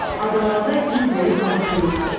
Adalarda il boyu hava soyuqdur.